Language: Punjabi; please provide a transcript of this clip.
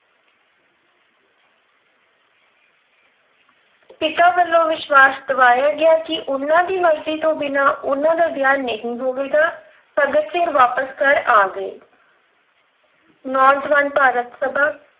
ਪਿਤਾ ਵੱਲੋਂ ਵਿਸ਼ਵਾਸ ਦਿਵਾਇਆ ਗਿਆ ਕਿ ਉਹਨਾਂ ਦੀ ਮਰਜ਼ੀ ਤੋਂ ਬਿਨਾਂ ਉਹਨਾਂ ਦਾ ਵਿਆਹ ਨਹੀਂ ਹੋਵੇਗਾ। ਭਗਤ ਸਿੰਘ ਵਾਪਿਸ ਘਰ ਆ ਗਏ ਨੌਜਵਾਨ ਭਾਰਤ ਸਭਾ,